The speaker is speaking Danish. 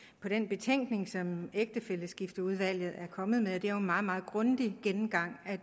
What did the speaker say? på den betænkning som ægtefælleskifteudvalget er kommet med det er jo en meget meget grundig gennemgang af